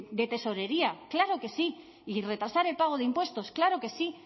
de tesorería claro que sí y retrasar el pago de impuestos claro que sí